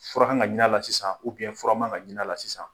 Fura kan ka ɲin'a la sisan, fura man kan ka ɲin'a la sisan.